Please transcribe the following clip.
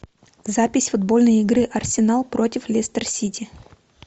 запись футбольной игры арсенал против лестер сити